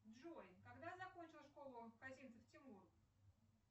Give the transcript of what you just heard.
джой когда закончил школу козинцев тимур